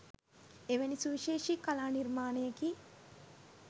එවැනි සුවිශේෂි කලා නිර්මාණයකි.